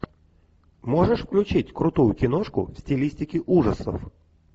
можешь включить крутую киношку в стилистике ужасов